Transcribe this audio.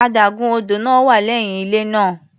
Adágún odò náà wà lẹ́yìn ilé náà.